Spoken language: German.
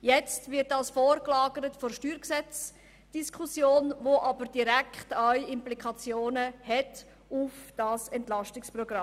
Jetzt wird dies der Steuergesetzdiskussion vorgelagert, welche aber direkte Implikationen für das EP 2018 hat.